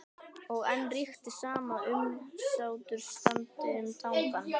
Og enn ríkti sama umsáturs- ástandið um Tangann.